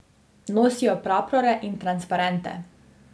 Nosijo prapore in transparente.